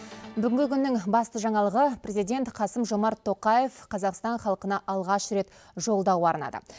бүгінгі күннің басты жаңалығы президент қасым жомарт тоқаев қазақстан халқына алғаш рет жолдау арнады